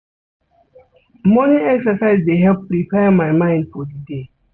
Morning exercise dey help prepare my mind for di day.